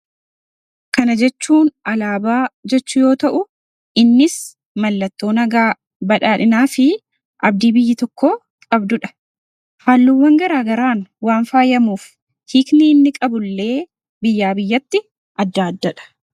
kana jechuun alaabaa jechuu yoo ta'u, innis mallattoo nagaa badhaadhinaa fi abdii biyyi tokko qabdudha. Halluu wwan garaa garaan waan faayyamuuf hiikni inni qabullee biyyaa biyyatti adda addadha.